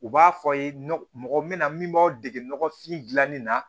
U b'a fɔ aw ye mɔgɔ min na min b'aw dege nɔgɔfin dilanni na